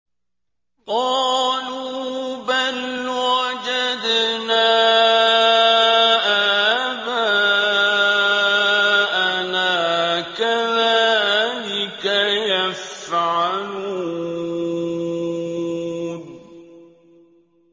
قَالُوا بَلْ وَجَدْنَا آبَاءَنَا كَذَٰلِكَ يَفْعَلُونَ